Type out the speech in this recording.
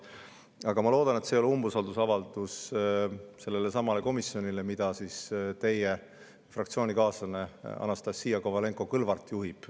Aga ma loodan, et see ei ole umbusaldusavaldus sellelesamale komisjonile, mida juhib teie fraktsioonikaaslane Anastassia Kovalenko-Kõlvart.